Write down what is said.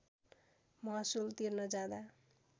महसुल तिर्न जाँदा